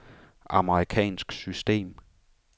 amerikansk system